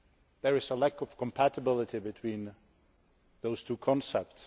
there is a lack of compatibility between those two concepts.